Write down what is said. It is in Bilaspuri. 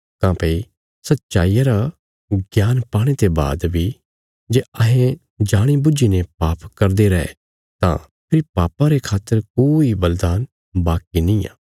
काँह्भई सच्चाईया रा ज्ञान पाणे ते बाद बी जे अहें जाणी बुझीने पाप करदे रैं तां फेरी पापां रे खातर कोई बलिदान बाकी निआं